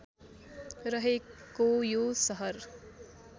रहेको यो सहर